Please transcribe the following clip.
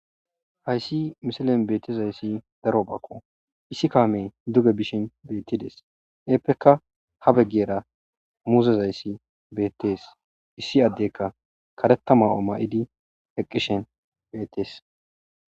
Hayssi misilen beetizayssi darobako;issi kaamey duge bishin beetides; eepeka ha bageera muuzezayssi beetees; issi addeyka kareta ma'o ma'idi eqqishen beetees.